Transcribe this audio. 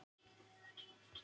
Við erum að rannsaka málið.